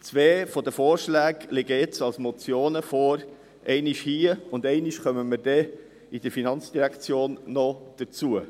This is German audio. Zwei der Vorschläge liegen nun als Motionen vor: einmal hier, ein anderes Mal kommen wir bei der FIN noch dazu.